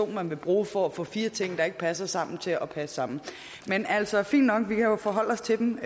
man vil bruge for at få fire ting der ikke passer sammen til at passe sammen men altså fint nok vi kan jo forholde os til dem